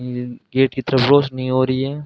ये गेट की तरफ रोशनी हो रही है।